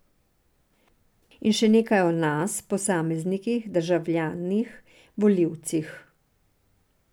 In še nekaj o nas, posameznikih, državljanih, volilcih.